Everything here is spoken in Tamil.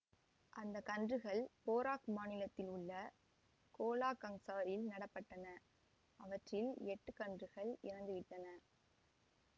அந்த கன்றுகள் பேராக் மாநிலத்தில் உள்ள கோலாகங்சாரில் நட பட்டன அவற்றில் எட்டு கன்றுகள் இறந்துவிட்டன